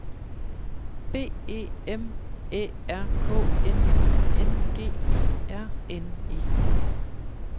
B E M Æ R K N I N G E R N E